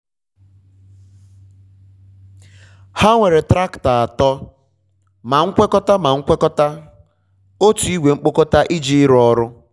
ha nwere traktọ atọ ma nkwekọta ma nkwekọta otu ìgwè mkpokọta iji ịrụ ọrụ.